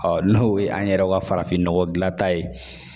n'o ye an yɛrɛ ka farafinnɔgɔ dilanta ye